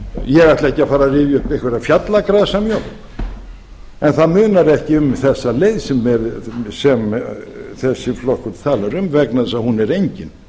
á því ég ætla ekki að fara að rifja upp einhverja fjallagrasamjólk en það munar ekki um þessa leið sem þessi flokkur talar um vegna þess að hún er engin